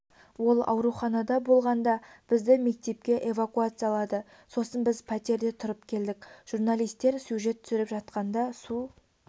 ол ауруханада болғанда бізді мектепке эвакуациялады сосын біз пәтерде тұрып келдік журналистер сюжет түсіріп жатқанда су